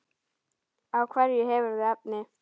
Á hverju hefurðu efni?